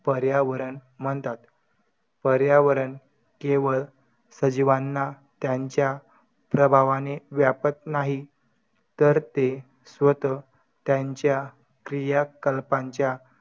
पर्यावरण म्हणतात. पर्यावरण केवळ सजीवांना त्यांच्या प्रभावाने व्यापत नाहीत तर ते स्वतः त्यांच्या क्रियाकलापांच्या